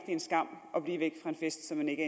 en skam at blive væk fra en fest som man ikke